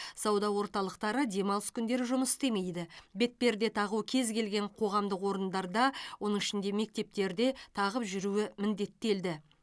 сауда орталықтары демалыс күндері жұмыс істемейді бетперде тағу кез келген қоғамдық орындарда оның ішінде мектептерде тағып жүруі міндеттелді